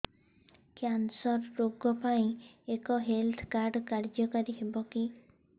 cancer ରୋଗ ପାଇଁ ଏଇ ହେଲ୍ଥ କାର୍ଡ କାର୍ଯ୍ୟକାରି ହେବ କି